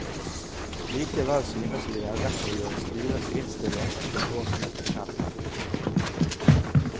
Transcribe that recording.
Likevel synes vi det er rett å gjøre styrets innstilling til årsmøtet kjent her.